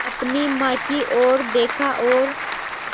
अपनी माँ की ओर देखा और